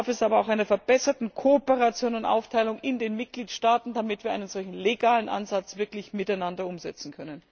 Dazu bedarf es aber auch einer verbesserten Kooperation und Aufteilung in den Mitgliedstaaten, damit wir einen solchen legalen Ansatz wirklich miteinander umsetzen können.